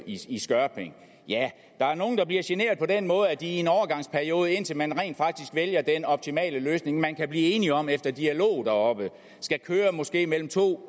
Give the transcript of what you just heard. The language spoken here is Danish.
i skørping ja der er nogle der bliver generet på den måde at de i en overgangsperiode indtil man rent faktisk vælger den optimale løsning man kan blive enige om efter dialog deroppe skal køre måske mellem to